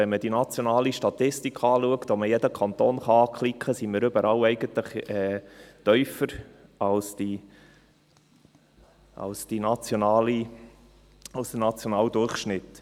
Wenn man die nationale Statistik anschaut, bei der man jeden Kanton anklicken kann, sieht man, dass wir eigentlich überall tiefer sind als der nationale Durchschnitt.